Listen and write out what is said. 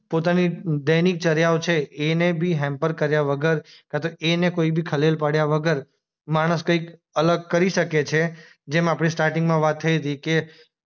પોતાની દૈનિક ચરીયાઓ છે એને બી હેમ્પર કર્યા વગર કા તો એને કોઈ ભી ખલેલ પડ્યા વગર માણસ કંઈક અલગ કરી શકે છે જેમ આપણે સ્ટાર્ટિંગ માં વાત થઈ હતી કે